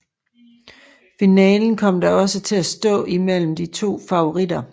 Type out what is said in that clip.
Finalen kom da også til at stå imellem de to favoritter